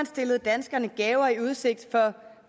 stillet danskerne gaver i udsigt for